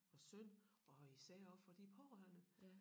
Og synd og især også for de pårørende